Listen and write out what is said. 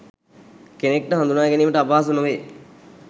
කෙනෙක්ට හදුනාගැනීමට අපහසු නොවේ